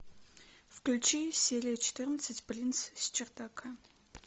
включи серия четырнадцать принц с чердака